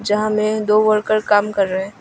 यहां में दो वर्कर काम कर रहे हैं।